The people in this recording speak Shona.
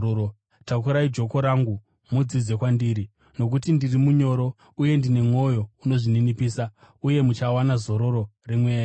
Takurai joko rangu, mudzidze kwandiri, nokuti ndiri munyoro uye ndine mwoyo unozvininipisa, uye muchawana zororo remweya yenyu.